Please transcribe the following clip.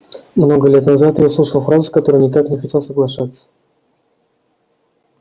много лет назад я услышал фразу с которой никак не хотел соглашаться